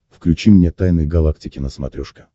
включи мне тайны галактики на смотрешке